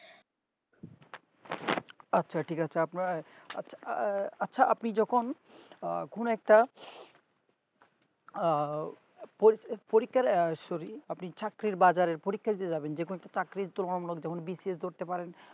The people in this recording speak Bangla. আছে ঠিক আছে আপনার আছে আছে আপনি যেকোন আহ কোনো একটা আহ পো~পরীক্ষার সহি আপনি চাকরির বাজারে পরীক্ষা দিতে যাবেন যেকোনো একটা চাকরি তুলনা মূলক যেকোন BCS করতে পারেন